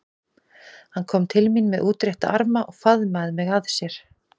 Hann kom til mín með útrétta arma og faðmaði mig að sér.